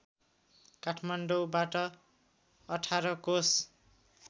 काठमाडौबाट १८ कोश